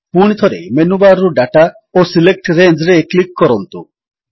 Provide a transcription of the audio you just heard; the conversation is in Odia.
ପୁଣିଥରେ ମେନୁବାର୍ ରୁ ଦାତା ଓ ସିଲେକ୍ଟ Rangeରେ କ୍ଲିକ୍ କରନ୍ତୁ